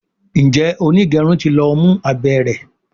Njé onigerun tí ló mú abé rẹ?